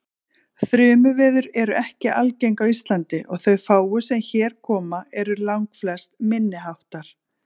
Þrumuveður eru ekki algeng á Íslandi og þau fáu sem hér koma eru langflest minniháttar.